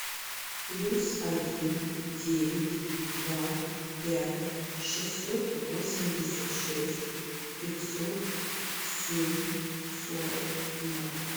плюс один девять два пять шестьсот восемьдесят шесть пятьсот семь сорок ноль